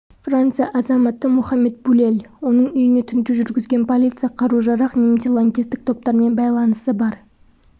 франция азаматы мұхаммед булель оның үйіне тінту жүргізген полиция қару-жарақ немесе лаңкестік топтармен байланысы бар